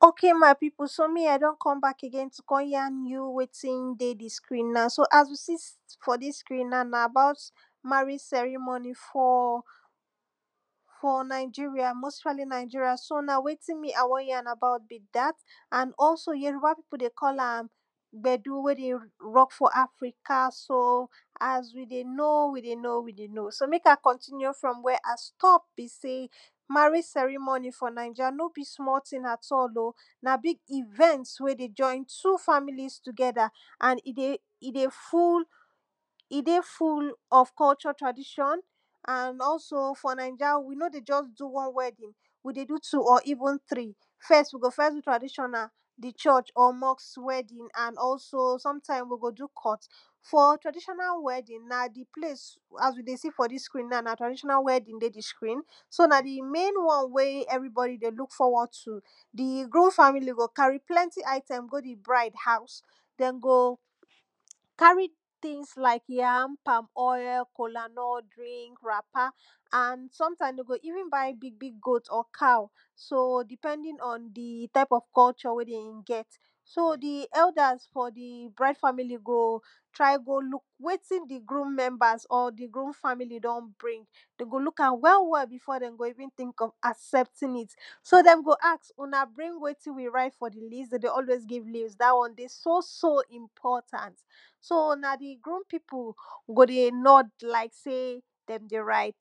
o?ke? ma?i? pi?pu? mi? a?i? d??n k??m ba?k e?ge?i? k??n ja?n ju? we?ti?n de? di? skri? na? so? a? wi? si? f?? di?s skri?n na? na? a?ba?u?t ma?re?i?? s??ri?m??ni? f?? f?? na?i?i?ri?a? we?ti?n mi? a? w??n j?? bi? da?t a?n ??so? jo?ru?ba? pi?pu? de? k??la?m gb??du? we? de? w??k f?? afri?ka? so? a?s ju? de? no? wi? de? no? wi? de? no? wi? de? no? so? me?k a?i? k??ntini?u? fr??m w?? a? st??p se? ma?re?? s??ri?m??i? f?? na?i?ja? no? bi? sm?? ti?n a?t??lo? na? bi?g i?v??nt we? de? ???i?n tu? fa?mi?li?s tu?g??da? a?n i? de? fo?n ??f k????? tra?di????n a?n ??so? s?? na?i??a? wi? no? de? ???s du? w??n w??di?n wi? de? du? tu??? i?vu?n tri? f??s wi? go? f?? du? tra?di????na? di??????? m??sk w??di?n a?n ??so? s??mta?i?m wi? go? du? k??t f?? tra?di????na? w??di? na? di? ple?i?s a?s wi? de? si? f?? di?s skri?n na? tra?di????na? w??di?n de? di? skri?n so? na? di? me?i?n w??n ??vri?b??di? de? lu?k f??w??d tu? di? gru?m fa?mi?li? go? ka?ri? pl??nti? a?i?t??m go? di? bra?i?d fa?mi?li? ha?u?s d??n go? ka?ri? ti?n la?i?k ja?m pa?m ??j?? ko?la?n?t dri?nk ra?pa? a?n s??mta?i?m de? go? i?vu?n ba?i? bi? bi? go?u?t?? ka?u? so? di?p??ndi?n ??n di? ta?i?p ??f k??u???? we? d??m g??t so? di? ??u?da?s f?? di? bra?i?d fa?mi?li? go? tra?i? go? lu?k we?ti?n di? gru?m m??nba?s?? di? gru?m fa?mi?li? d??n bri?ng de? go? lu?k a?m w?? w?? bi?f?? d??n go? ti?nk ??f i?vu?n a?s??pti?n i?t so? d??m go? a?s u?na? bri?n we?ti? wi? ra?i?t f?? di? li?st de? de? ??we?i?s bri?n li?s da? w??n de? so? so? i?mp??ta?nt so? na? di? gru?m pi?pu? go? de? n??d la?i?k se? d??n de? ra?i?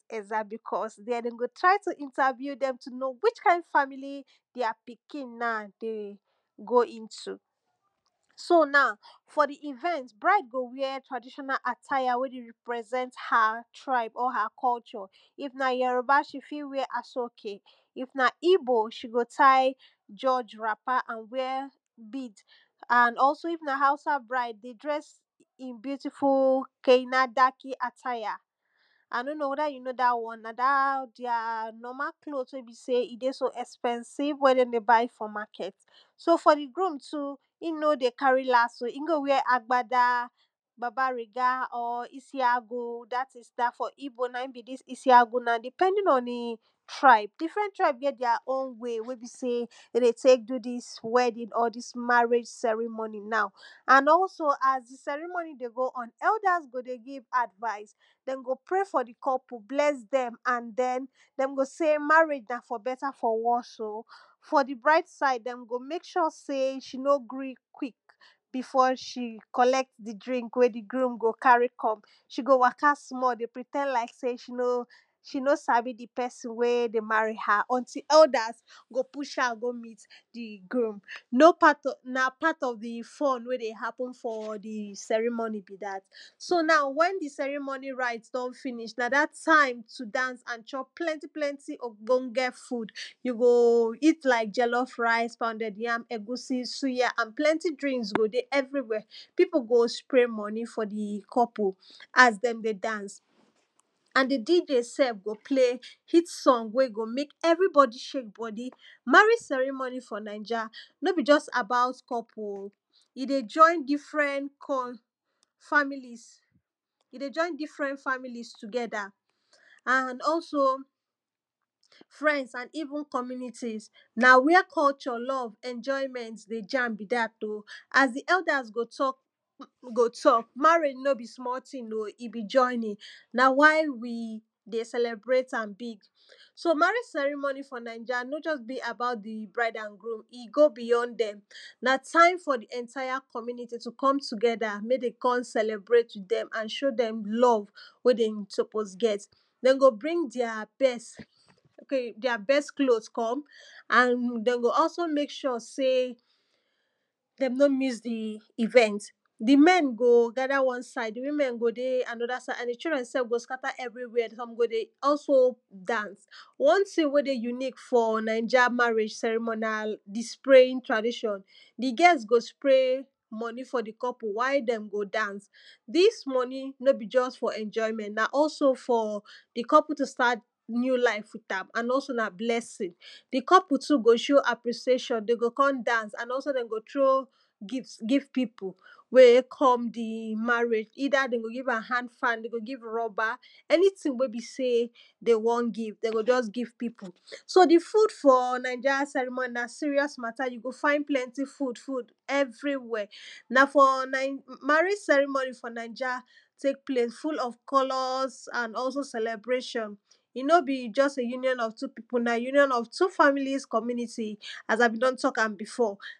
bi?k??s d??n go? tra?i? tu? i?nta?vi?u? d??m tu? no? wi?? ka?i?n fa?mi?li? di?a? pi?ki?n de? go? i?ntu? so? na?u? f?? di? i?v??nt bra?i?d go? wi??? tra?di????na? a?ta?ja? we? ri?pr??s??nt ha? tra?i?b?? ha? k??u???? i? na? jo?ro?ba? ?i? fi? w?? a??o?ke? i?f na? i?bo? ?i? go? ta?i? ra?pa? a?n wi??? bi?d a?n ??so? i?f na? ha?u?sa? bra?i?d de? dr??s bi?u?ti?fu? ke?na?da?ki? a?ta?ja? a? no? no? we?da? ju? no? da? w??n da? di?a? klo?u?t we? bi? se? i? de? so? ??sp??si?v we? d??n de? ba?i? f?? ma?k??t so? f?? di? gru?m tu? i? no? de? ka?ri? la?s i? go? wi??? a?gba?da? ba?ba?ri?da? i?si?a?gu? da?ti?s i?bo? na?i?n bi? di? i?si? a?gwu? na? di?p??di?n o?n di? tra?i?b di?fr??n tra?i?b g?? di?a? o?u? we? we? bi? se?igbo du? di?s w??di?n?? di?s ma?re?? s??ri?m??ni? na?u? a?n ??so? a?s dil s??ri?m??ni? de? go? ??n ??da?s gol de? gi?v a?dva?i?sde d??m go? pre? f?? di? k??pu? bl??s d??m d??n go? se? ma?re?i?? na? f?? b??ta? f?? w??s d f?? di? bra?i?d sa?i?d d??n go? me?k??? se? ?i? no? gri? kwi?k bi?f?? ?i? k??l??t di? dri?nk we? di? gru?m ka?ri? k??m ?i? go? wa?ka? sm?? de? pri?t??n la?i?k se? ?i? no? sa?bi? di? p??si?n we? de? ma?ri? a?m ??nti? ??u?da?s go? pu??a?m go? mi?t di? gru?m na? pa?t ??f di? fu?n we? de? ha?pu?n f?? di? s??ri?m??ni? bi? da? so? na? w??n di? s??ri?m??ni? ra?i?t d??n fi?ni?? na? da? ta?i?m tu? da?ns a?n ???p pl??nti? pl??nti? o?gbo?ng?? fu?d ju? go? ju? go? i?t la?i?k j??l??f ra?i?s pa?u?d??d ja?m ??gu?si? su?ja? a?n pl??ti? dri?nks go? de? ??vri?wi??? pi?pu? go? spre? m??ni? f?? di? k??pu? a?s d??n de? spre? de? da?ns a?n di? DJ s??f gol ple?i? s??ng we? go? me?k ??vri?b??di? s??f ?e?i?k b??di? ma?re?i?? s??ri?m??ni? f?? na?i??a? no? bi? ???s a?ba?u?? k??pu? o? i? de? ???i?n di?fr??n fa?mi?li?s i? de? ???i?n di?fr??n fa?mi?li?s tu?g??da? a?n ??so? fr??ns a?n i?vu?n k??mi?ni?ti?s na? wi??? k??u???? l??v ?????i?m??nt de? ?a?m bi? da?t o? a?s di? ??u?da?s de? t??k wu? go? t??k ma?re?i?? no? bi? sm?? ti?n o? i? bi? ???i?ni?n na? wa?i? wi? de? s??l??bre?i?ta?m bi?g so? ma?re?i?? s??ri?m??ni? f?? na?i??a? no? ??bi? a?ba?u?t di? bra?i?d a?n gru?m i? go? bi?j??n d??m na? ta?i?m f?? di? ??nta?ja? k??mi?ni?ti? me? de? k??n s??l??bre?i?t ju? d??m a?n ?o? d??m l??v we? d??n so?po?s g??t de? go? bri?n di?a? t??s di?a? b??s klo?u?t k??m a?n de? go? ??so? me?k??? se? d??m no? mi?s di? i?v??nt di? m??n go? ga?da? w??? sa?i?d di? wi?m??n go? de? w??n sa?i?d a?n di? ?u?dr??n go? ska?ta? ??vri?w?? s??m go? de? ??so? da?ns w??n ti?n we? de? ju?ni? f?? na?i??a? ma?re?i?? s??ri?m??ni? na? di? spre?i?ji?n tra?di????n di? g??s go? spre? m??ni? f?? di? k??pu? wa?i? d??m go? da?ns di?s m??ni? no? bi? ???s f?? ?????i?m??nt na? ??so? f?? di? k??pu? tu? sta?t ni?u? la?i?f wi?ta?m a?n na? ??so? na? bl??si?n di? k??pu? tu? go? ?o? a?pri?si?e????n de? go? k??n da?ns a?n ??so? de? go? tro?u? gi?ft gi?v pi?pu? we? k??m di? ma?re?i?? i?da? d??m go? gi?va?m a?n fa?n r??ba? ??ni?ti?n we? de? w??n gi?v de? go? gi?v pi?pu? so? di? fu?d f?? na?i??a? s??ri?m??ni? fu?d fu? ??vri?wi??? na? f?? ma?re?i?? s??ri?m??ni? f?? na?i??a? te?k fu?l?? k??l??s a?n ??so? s??li?bre?i????n i? no? bi? j??s? ju?ni???n ??f tu? pi?pu? na? e? ju?ni???n ??f tu? fa?mi?li?s k??mi?ni?ti? a?s a? bi? do?n t??ka?m bi?f??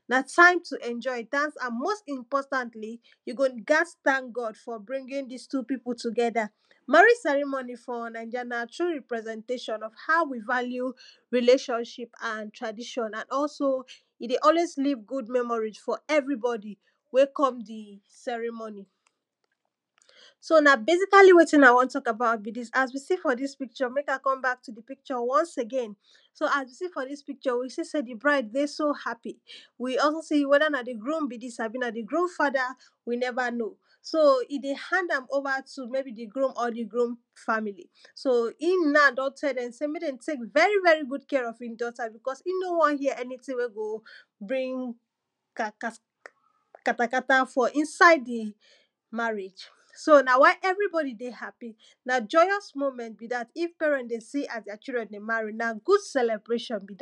na? ta?i?m tu? ??n???i? da?ns a?n mo?st i?mp??ta?ntli? ju? go? ga?s ta?n g??d f?? bri?ngi?n di?s tu? pi?pu? tu?g??da? ma?re?i?? s??ri?m??ni? f?? na?i??a? na? tru? ri?pre?s??te?i????n ??f a?u? wi? va?li?u? ri?le????n?i?p a?n tra?di????? a?n ??so? i? de? ??we?i?s li?v gu?d m??mo?ri? f?? ??ni? w??n we? k??n di? s??ri?m??ni? so? na? be?si?ka?li? we?ti?n a? w??n t??k a?ba?u?t bi? di?s a?s wi? si? f?? di?s pi?k??? me?k a? k??m ba?k e?ge?i?n so? a?s wi? si? f?? di?s pi???? wi? si? se? di? bra?i?d de? a?pi? wi? ??so? si? we? da? na? di? gru?m bi? di?s?? na? di? gru?m fa?da? wi? n??va? no? o? i? de? ha?nda?m o?va? tu? me?bi? di? gru?m?? di? gru?m fa?mi?li? so? i?m na? d??n t?? d??m se? me?k d??m te?k v??ri? gu?d k?? ??f i?n d??ta? i?n no? w??n j?? se? ??ni?ti?n we? go? bri?ng ka?ta?ka?ta? f?? i?sa?i? di? ma?re?i?? so? na? wa?i? ??vri?b??di? de? ha?pi? na? ???j??s mo?m??nt bi? da?t i?f pe?r??t de? si? a?s di?a pi?ki?n de? ma?ri? so? na? gu?d se?le?bre????n bi? da?t ok my pipu me i don come agin to come yan you wetin dey d screen na for dis screen na na about marriage ceremony for for nigeria so na wetin me i won hear be dat and also yoruba pipu dey call am gbedu we dey rock for africa so as we dey know we dey know we dey know so mek i continue fro where i stop be sey marriage ceremony for niger no be small tin oh na big event we dey join two families together and e dey full of culture tradition, and aso for ninja, we no dey just do one wedding, we dey do two or even three fes we go fes do traditional, di churc or mosque wedding sometime, we go do court, for traditional wedding, na di place as you dey see for dis picture so na traditional wedding ey dis picture so so na di main won wey everybody dey look foraward too di groom family go carry plenty item go di bride house, dem go carry tins like yam, palmoil, colanut drink, wrapper, and sometime de go even buy big big goat or cow depending on di tye of cuture we dem get so di elders for di brid family go try go look wetin di groom members or di groom family don bring. de go look am well well before de go even think of accepting it de o so important so na di groom pipu go dey nod like sey den dey rigt beause den go try to interview dem to try to know which kind family their pikin na dey go into so na for di event, bride go wear traditional attire we go represent her culture if na yoruba, she fit wear asoke, if na igbo, se go tire wrapper and wear bid and also if na hausa bride, dey dress in beautiful kenadaki attire a no know weda you know da won da their normal cloth we be sey e dey so expensive we de de buy for market so for di groom too, e no dey carry las oh e go wear agbada, babriga or isiagwu dat na in be dis isiagwu depending on di tribe, different tribe get their own wey we be sey de tek do dis wedding or dis marriegae ceremony and also as di wedding dey go on, elders go dey give advice dem go pray for di couple dem go bless dem dem go sey marriage na for better for wore oh for di bride side, dem go mek sure sey she no gree quick before she colect di drink we di groom carry come she go waka small dey pretnd like sey se no sabi di pesi we dey marry her until others go pus am go meet di pesi wey she dey marry di groom na part of di fun we dey happen for d ceremony be dat so now wen di ceremony rite don finis na dat time to chop and dance and chop plenty plenty ogbonge food eat like jellof rice, pounded yam, egusi, suya and plenti drink go dey everywhere pipu go spray money for di couple as den dey dance and di DJ self go play hit song we go mek everybody shake bodi marriage ceremony for ninja no be just about couple o e dey join different families e dey join different familie together and also, friends and even communities na where culture, love enjoyment dey join be dat oh as di elders dey talk wi go talk marriage no be small tin oh, e be joining na why we dey celebrate am big so marriage celemony for ninja no just dey about di bride and groom e go beyond dem na time for di entire community to come together mek de kon celebrate dem and show dem love we dem spppose get den go bring their friends their best cloth come and de go also mek sure sey dem no miss di event di men go gather wan side, di women go dey won side and di children go scatter everywhere some go dey also dance one tin we dey unique for ninja marruage ceremoni na di spraying tradition. di girls go spray money for di couple while dem go dance dis money no be just for enjoyment na also for di couple to start new life with am and na also na blessing di couple too go show appreciation de go kon dance and also de go throw gift give pipu we come di marrage either de go give am hamnd fan de go give rubber anything we de won give pipu so di food for ninja ceremony na serious mata you go find plenty food everywhere na for marriage ceremony for ninja full of colors and celebration e no be just a union of two pipu na union of two family communities na time to enjoy dance and most importantly, you go gas thank God for bringing dis two pipu together. marriage ceremony for ninja na true represetation of how we value relationship and tradition and also e dey always leave good memory for everybody wey come di cremony so na basically wetin i wo talk about as we see for dis picture mek i co e back to di picture ones again so as we see for dis picture, we see sey di bride dey happy weda na di groom be dis abi na di groom fada we neva know so e dey hanmd am over to meybe di groom or di groom family so him na don tell dem sey mek dem tek very very good care of him daughter because e no won hear anything wey go bring katakata for inside di marriage so na why everybody dey happy na joyous moment be dat if parent dey see as teir children dey marry na good celebration be dat.